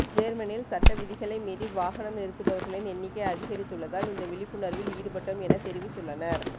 ஜேர்மனில் சட்டவிதிகளை மீறி வாகனம் நிறுத்துபவர்களின் எண்ணிக்கை அதிகரித்துள்ளதால் இந்த விழிப்புணர்வில் ஈடுபட்டோம் என தெரிவித்துள்ளனர்